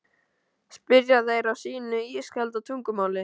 spyrja þeir á sínu ískalda tungumáli.